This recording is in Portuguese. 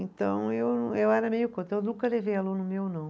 Então eu, eu era meio contra, eu nunca levei aluno meu, não.